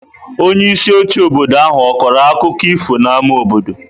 Onyeisi oche obodo ahụ ọ̀ kọrọ akụkọ ifo n’ámá obodo?